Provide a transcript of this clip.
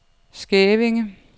Skævinge